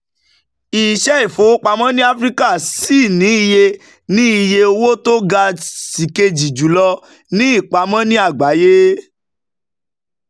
iṣẹ́ ìfowópamọ́ ní áfíríkà ṣì ní iye ní iye owó tó ga sikeji jùlọ ní ìpamọ́ ní àgbáyé.